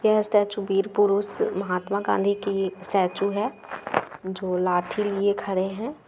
यह स्टैचू वीर पुरुष महात्मा गांधी की स्टैचू है जो लाठी लिए खड़े है ।